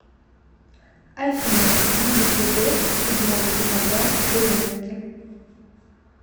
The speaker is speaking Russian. афина будет ли дождь седьмого декабря в березовке